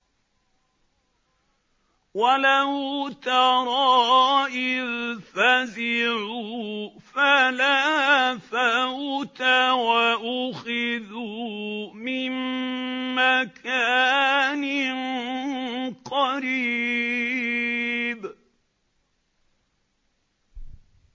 وَلَوْ تَرَىٰ إِذْ فَزِعُوا فَلَا فَوْتَ وَأُخِذُوا مِن مَّكَانٍ قَرِيبٍ